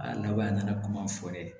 A laban a nana kuma fɔ dɛ